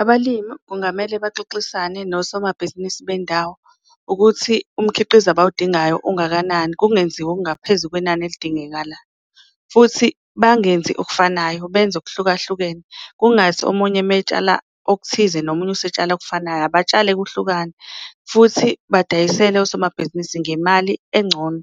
Abalimu kungamele baxoxisane nosomabhizinisi bendawo ukuthi umkhiqizo abawudingayo ungakanani, kungenziwa okungaphezu kwenani elidingekala. Futhi bangenzi okufanayo benze okuhlukahlukene kungathi omunye metshala okuthize nomunye usetshala okufanayo, abatshale kuhlukane futhi badayisele osomabhizinisi ngemali engcono.